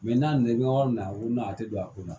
n'a nana i bɛ yɔrɔ min na a ko n'a tɛ don a kun na